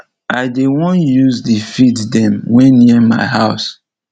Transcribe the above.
i dey wan use de field dem wey near my house